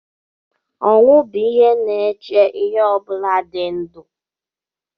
Ọnwụ bụ ihe na-eche ihe ọ bụla dị ndụ